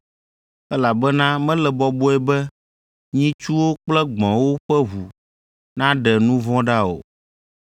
elabena mele bɔbɔe be nyitsuwo kple gbɔ̃wo ƒe ʋu naɖe nu vɔ̃ ɖa o.